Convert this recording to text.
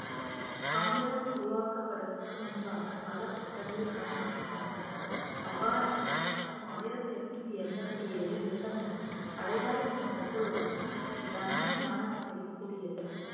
காங்கிரஸ் உருவாக்கப்படுவதற்கு முன்பாக பல கூட்டங்களில் கலந்து கொண்டார்கள் அவ்வாறான ஒரு கூட்டம் ஆயிரத்தி எட்நூத்தி எண்பத்தி ஏழு டிசம்பர் அடையார் என்னும் இடத்தில் உள்ள பிரம்ம ஞானசபை கூடியது